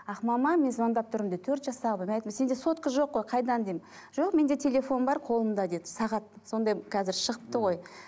ақмама мен звондап тұрмын дейді төрт жастағы мен айттым сенде сотка жоқ қой қайдан деймін жоқ менде телефон бар қолымда деді сағат сондай қазір шығыпты ғой